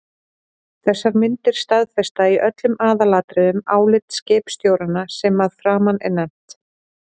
Þessar myndir staðfesta í öllum aðalatriðum álit skipstjóranna sem að framan er nefnt.